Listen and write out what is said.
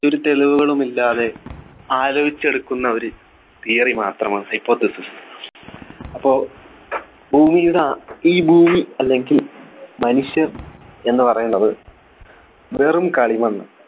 ഒരു തെളിവുകളുമില്ലാതെ ആലോചിച്ചു എടുക്കുന്ന ഒരു theory മാത്രമാണ് Hypothesis അപ്പൊ ഭൂമിയുടെ ആ ഈ ഭൂമി അല്ലെങ്കിൽ മനുഷ്യർ എന്ന് പറയുന്നത് വെറും കളിമണ്ണ്